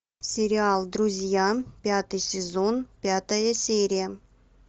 сериал друзья пятый сезон пятая серия